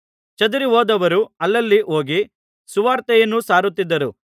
ಚದರಿಹೋದವರು ಅಲ್ಲಲ್ಲಿ ಹೋಗಿ ಸುವಾರ್ತೆಯನ್ನು ಸಾರುತ್ತಿದ್ದರು